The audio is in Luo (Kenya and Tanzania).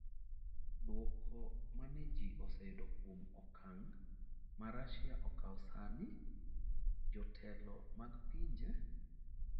Dwoko mane ji oseyudo kuom okang ' ma Russia okawo sani? jotelo mag pinje?